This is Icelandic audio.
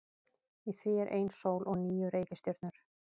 Í því er ein sól og níu reikistjörnur.